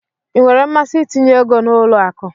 Ịnwere mmasị itinye égo n'ụlọ akụ?